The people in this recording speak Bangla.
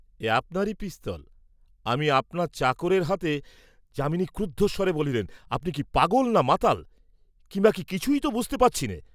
"এ আপনারই পিস্তল, আমি আপনার চাকরের হাতে," যামিনী ক্রুদ্ধ স্বরে বলিলেন, "আপনি কি পাগল না মাতাল কিংবা কি কিছুই তো বুঝতে পারছিনে!"